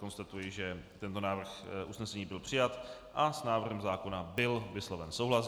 Konstatuji, že tento návrh usnesení byl přijat a s návrhem zákona byl vysloven souhlas.